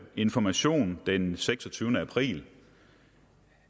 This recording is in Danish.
information den seksogtyvende april